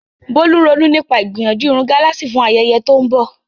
Bolu ń ronú nípa ìgbìyànjú irun gálààsì fún ayẹyẹ tó ń bọ̀.